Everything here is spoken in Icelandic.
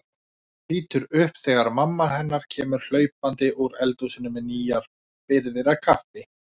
Lítur upp þegar mamma hennar kemur hlaupandi úr eldhúsinu með nýjar birgðir af kaffi.